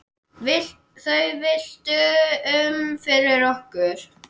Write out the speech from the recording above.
Þau villtu um fyrir okkur.